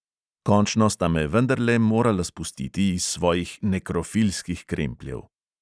Končno sta me vendarle morala spustiti iz svojih nekrofilskih krempljev.